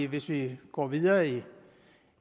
hvis vi går videre